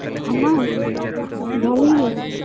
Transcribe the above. আমার ভালই গেছে